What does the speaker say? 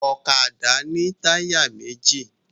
Ọ̀kadà ní táyà méjì